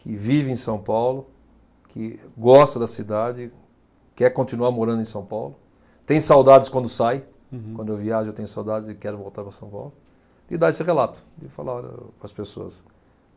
que vive em São Paulo, que gosta da cidade, quer continuar morando em São Paulo, tem saudades quando sai. Uhum. Quando eu viajo eu tenho saudades e quero voltar para São Paulo, e dá esse relato, e fala para as pessoas.